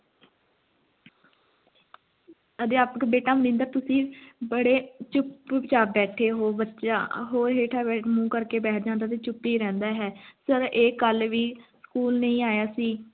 ਅਧਿਆਪਕ ਬੇਟਾ ਮਨਿੰਦਰ ਤੁਸੀਂ ਬੜੇ ਚੁੱਪ-ਚਾਪ ਬੈਠੇ ਹੋ, ਬੱਚਾ ਹੋਰ ਹੇਠਾਂ ਮੂੰਹ ਕਰਕੇ ਬੈਠ ਜਾਂਦਾ ਤੇ ਚੁੱਪ ਹੀ ਰਹਿੰਦਾ ਹੈ ਸਰ ਇਹ ਕੱਲ ਵੀ school ਨਹੀਂ ਆਇਆ ਸੀ